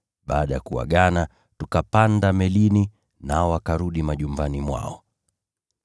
Baada ya kuagana, tukapanda melini, nao wakarudi majumbani mwao.